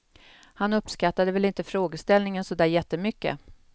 Han uppskattade väl inte frågeställningen så där jättemycket.